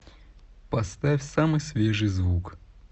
поставь самый свежий звук